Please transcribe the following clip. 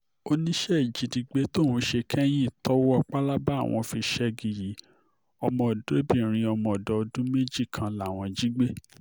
óní iṣẹ́ ìjínigbé tóun ṣe kẹ́yìn tọwọ́ pálábá àwọn fi ṣẹ́gi yìí ọmọdébìnrin ọmọdọ́dún méjì kan làwọn jí gbé